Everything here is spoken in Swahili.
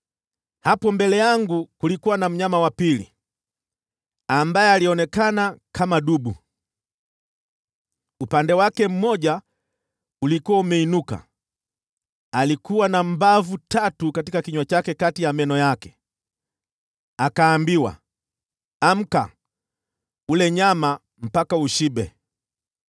“Hapo mbele yangu kulikuwa na mnyama wa pili, ambaye alionekana kama dubu. Upande wake mmoja ulikuwa umeinuka, na alikuwa na mbavu tatu katika kinywa chake kati ya meno yake. Akaambiwa, ‘Amka, ule nyama mpaka ushibe!’